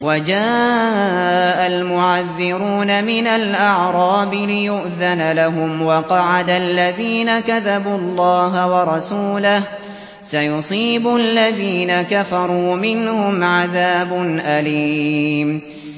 وَجَاءَ الْمُعَذِّرُونَ مِنَ الْأَعْرَابِ لِيُؤْذَنَ لَهُمْ وَقَعَدَ الَّذِينَ كَذَبُوا اللَّهَ وَرَسُولَهُ ۚ سَيُصِيبُ الَّذِينَ كَفَرُوا مِنْهُمْ عَذَابٌ أَلِيمٌ